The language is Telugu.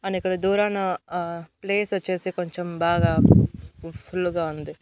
అండ్ ఇక్కడ దూరాన అ ప్లేస్ వచ్చేసి కొంచెం బాగా ఫుల్ గా ఉంది.